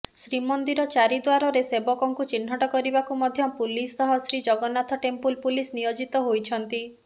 ଶ୍ରୀମନ୍ଦିର ଚାରିଦ୍ୱାରରେ ସେବକଙ୍କୁ ଚିହ୍ନଟ କରିବାକୁ ମଧ୍ୟ ପୁଲିସ ସହ ଶ୍ରୀଜଗନ୍ନାଥ ଟେମ୍ପୁଲ୍ ପୁଲିସ ନିୟୋଜିତ ହୋଇଛନ୍ତି